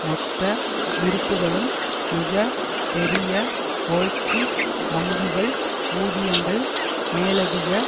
மொத்த இருப்புக்களும் மிக பெரிய வோல்ஸ்ட்ரீட் வங்கிகள் ஊதியங்கள் மேலதிக